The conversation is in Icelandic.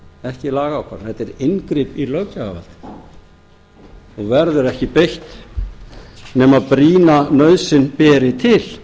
ekki lagaákvarðanir þetta er inngrip í löggjafarvaldið og verður ekki beitt nema brýna nauðsyn beri til